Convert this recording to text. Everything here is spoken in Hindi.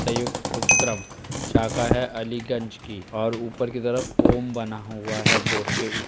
संयुक्त उपक्रम शाखा है अलीगंज की और ऊपर की तरफ ओम बना हुआ है बोर्ड के उप --